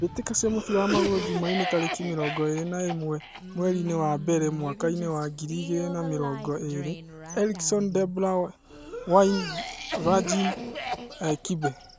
Mbitika cia mũbira wa magũrũ Jumaine tarĩki mĩrongo ĩrĩ na ĩmwe mwerinĩ wa mbere mwakainĩ wa ngiri igĩrĩ na mĩrongo ĩrĩ: Erikson, Debra, Waine, Virgin, Kibe.